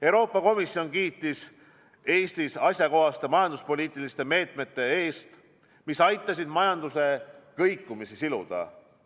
Euroopa Komisjon kiitis Eestit asjakohaste majanduspoliitiliste meetmete eest, mis aitasid majanduse kõikumist siluda.